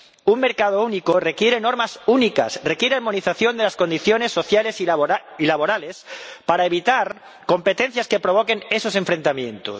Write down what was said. Un mercado único requiere normas únicas, requiere armonización de las condiciones sociales y laborales, para evitar competencias que provoquen esos enfrentamientos.